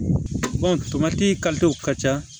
tomati ka ca